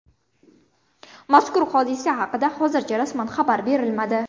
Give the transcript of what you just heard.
Mazkur hodisa haqida hozircha rasman xabar berilmadi.